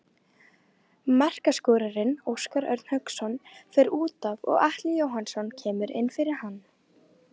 Markaskorarinn Óskar Örn Hauksson fer útaf og Atli Jóhannsson kemur inn fyrir hann.